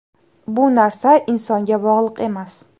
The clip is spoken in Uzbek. Bu narsa insonga bog‘liq emas.